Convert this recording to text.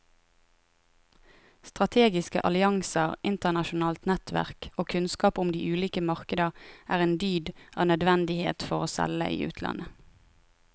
Strategiske allianser, internasjonalt nettverk og kunnskap om de ulike markeder er en dyd av nødvendighet for å selge i utlandet.